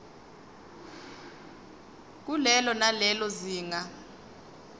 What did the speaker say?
kulelo nalelo zinga